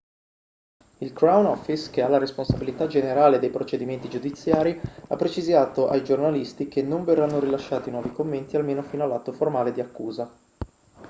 il crown office che ha la responsabilità generale dei procedimenti giudiziari ha precisato ai giornalisti che non verranno rilasciati nuovi commenti almeno fino all'atto formale di accusa